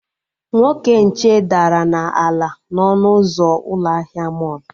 Nwoke nche dara na-ala n'ọnụ ụzọ ụlọ ahịa mọlụ